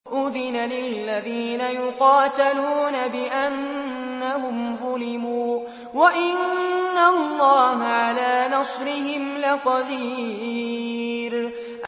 أُذِنَ لِلَّذِينَ يُقَاتَلُونَ بِأَنَّهُمْ ظُلِمُوا ۚ وَإِنَّ اللَّهَ عَلَىٰ نَصْرِهِمْ لَقَدِيرٌ